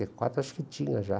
e quatro, acho que tinha já.